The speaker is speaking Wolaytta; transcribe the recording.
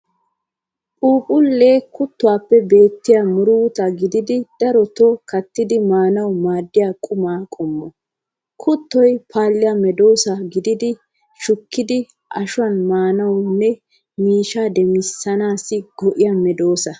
Phuuphulle Kuttuwaappe beettiya muruta gididi daroto kattidi maanawu maaddiya quma qommo. Kuttoy paalliya medoosa gididi shukkidi ashuwaa maanaassinne miishsha demmanaassi go"iya medoosa.